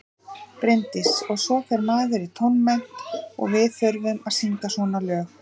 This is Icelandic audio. Bryndís: Og svo fer maður í tónmennt og við þurfum að syngja svona lög.